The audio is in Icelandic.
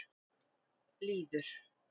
Lýður